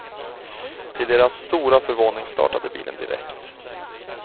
Till deras stora förvåning startade bilen direkt.